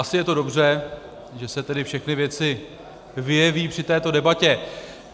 Asi je to dobře, že se tedy všechny věci vyjeví při této debatě.